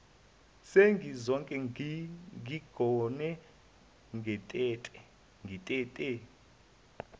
sengizoke ngigone ngitete